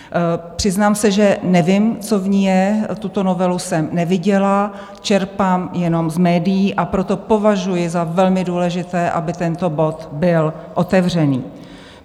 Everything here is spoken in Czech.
Přiznám se, že nevím, co v ní je, tuto novelu jsem neviděla, čerpám jenom z médií, a proto považuji za velmi důležité, aby tento bod byl otevřen.